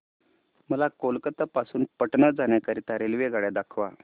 मला कोलकता पासून पटणा जाण्या करीता रेल्वेगाड्या दाखवा